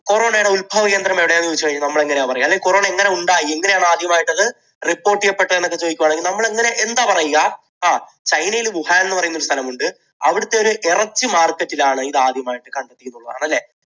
corona യുടെ ഉൽഭവകേന്ദ്രം എവിടെയാണെന്ന് ചോദിച്ചാൽ നമ്മള് എങ്ങനെയാണ് പറയുക? അല്ലെങ്കിൽ corona എങ്ങനെ ഉണ്ടായി? എങ്ങനെയാണ് ആദ്യമായിട്ടത് report ചെയ്യപ്പെട്ടത് എന്നൊക്കെ ചോദിക്കുവാണെങ്കിൽ നമ്മൾ എങ്ങനെ, എന്താ പറയുക? ങ്ഹാ, ചൈനയിൽ വുഹാൻ എന്നു പറയുന്ന ഒരു സ്ഥലമുണ്ട്, അവിടുത്തെ ഒരു ഇറച്ചി market ൽ ആണ് ഇത് ആദ്യമായി കണ്ടെത്തിയെന്നുള്ളതാണ് അല്ലേ?